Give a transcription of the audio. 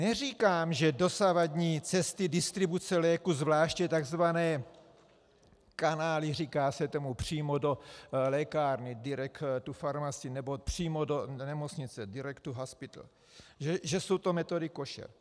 Neříkám, že dosavadní cesty distribuce léků, zvláště tzv. kanály, říká se tomu, přímo do lékárny, direct to farmacy, nebo přímo do nemocnice, direct to hospital, že jsou to metody košer.